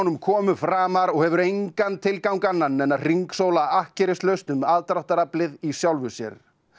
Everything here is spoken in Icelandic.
komu framar og hefur engan tilgang annan en að hringsóla akkerislaust um aðdráttaraflið í sjálfu sér